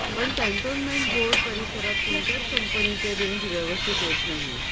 पण cantonment board परिसरात कोणत्याच कंपनीचे रेंज व्यवस्थित येत नाही